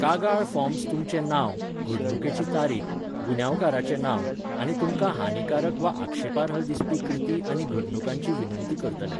कागाळ फॉर्म्स तुमचें नांव, घडणुकेची तारीख, गुन्यांवकाराचें नांव, आनी तुमकां हानीकारक वा आक्षेपार्ह दिसपी कृती आनी घडणुकांची विनंती करतले.